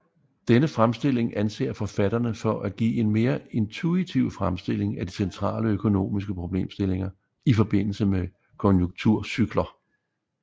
Denne fremstilling anser forfatterne for at give en mere intuitiv fremstilling af de centrale økonomiske problemstillinger i forbindelse med konjunkturcykler